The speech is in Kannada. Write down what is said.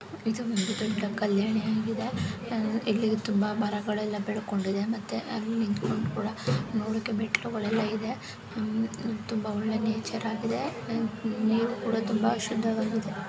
ಇದು ಒಂದು ದೊಡ್ಡ ಕಲ್ಯಾಣಿ ಆಗಿದೆ. ಇಲ್ಲಿ ತುಂಬಾ ಮರಗಳೆಲ್ಲ ಬೆಳ್ಕೊಂಡಿದೆ ಮತ್ತೆ ಅಲ್ಲ್ ನಿಂತ್ಕೊಂಡ್ ಕೂಡ ನೋಡಕ್ಕೆ ಮೆಟ್ಲುಗಳೆಲ್ಲ ಇದೆ. ಹಮ್ ತುಂಬಾ ಒಳ್ಳೆ ನೇಚರ್ ಆಗಿದೆ ಅಹ್ ನೀರು ಕೂಡ ತುಂಬಾ ಶುದ್ಧವಾಗಿದೆ.